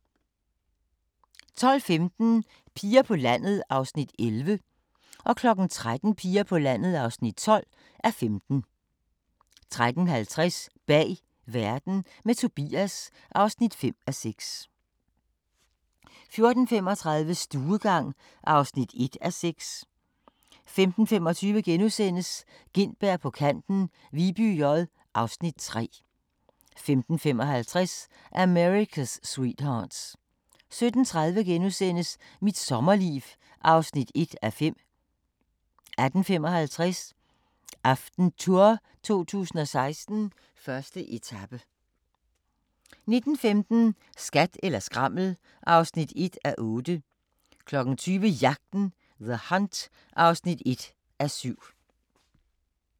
12:15: Piger på landet (11:15) 13:00: Piger på landet (12:15) 13:50: Bag verden – med Tobias (5:6) 14:35: Stuegang (1:6) 15:25: Gintberg på kanten – Viby J (Afs. 3)* 15:55: America's Sweethearts 17:30: Mit sommerliv (1:5)* 18:55: AftenTour 2016: 1. etape 19:15: Skat eller skrammel (1:8) 20:00: Jagten – The Hunt (1:7)